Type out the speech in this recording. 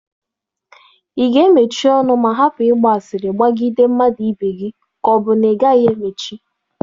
Ị ga-emechi ọnụ ma hapụ ịgba asịrị gbagide mmadụ ibe gị ka ọ bụ na ị gaghị emechi?